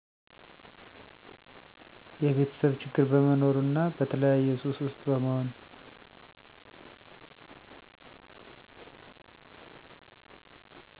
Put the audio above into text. የቤተሰብ ችግር በመኖሩ እና በተለያየ ሱሰ ውስጥ በመሆን።